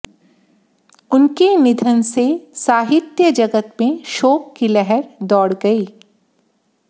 उनके निधन से साहित्य जगत में शोक की लहर दौड़ गई